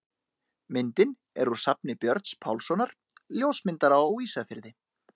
Myndin er úr safni Björns Pálssonar, ljósmyndara á Ísafirði.